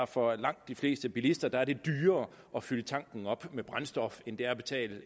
for langt de fleste bilister er dyrere at fylde tanken op med brændstof end det er at betale